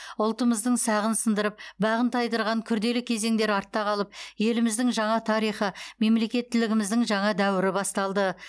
ұлтымыздың сағын сындырып бағын тайдырған күрделі кезеңдер артта қалып еліміздің жаңа тарихы мемлекеттілігіміздің жаңа дәуірі басталды